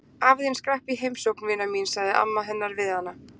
Afi þinn skrapp í heimsókn, vina mín sagði amma hennar við hana.